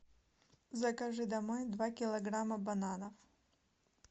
закажи домой два килограмма бананов